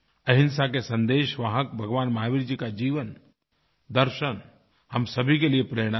अहिंसा के संदेशवाहक भगवान महावीर जी का जीवनदर्शन हम सभी के लिए प्रेरणा देगी